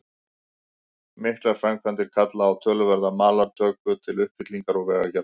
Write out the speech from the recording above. Miklar framkvæmdir kalla á töluverða malartöku til uppfyllingar og vegagerðar.